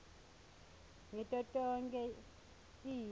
ngito tonkhe tibi